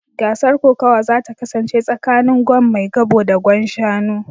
Gasar kokawa za ta kasance tsakanin Gwan maigabo da Gwan Shanu